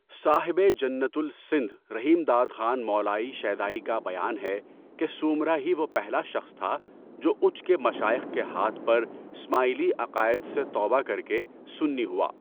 صاحبِ جنت السندھ رحیمداد خان مولائی شیدائی کا بیان ہے کہ سومرہ ہی وہ پہلا شخص تھا، جو اُچ کے مشائخ کے ہاتھ پر اسماعیلی عقائد سے توبہ کر کے سُنی ہوا۔